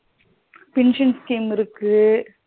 Pension scheme இருக்கு